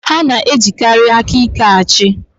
Ha na-ejikarị aka ike achị.